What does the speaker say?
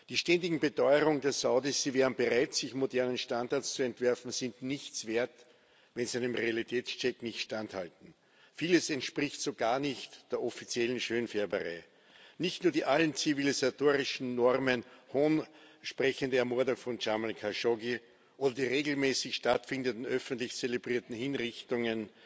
Die stetigen Beteuerungen der Saudis, sie wären bereit, sich modernen Standards zu unterwerfen, sind nichts wert, wenn sie einem Realitätscheck nicht standhalten. Vieles entspricht so gar nicht der offiziellen Schönfärberei, nicht nur die allen zivilisatorischen Normen Hohn sprechende Ermordung von Jamal Khashoggi oder die regelmäßig stattfindenden öffentlich zelebrierten Hinrichtungen